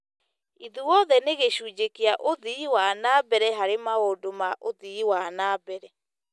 Ithuothe nĩ gĩcunjĩ kĩa ũthii wa na mbere harĩ maũndũ ma ũthii wa na mbere.